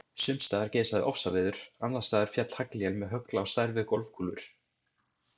Sums staðar geisaði ofsaveður, annars staðar féll haglél með högl á stærð við golfkúlur.